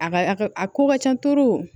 A ka a ka a ko ka ca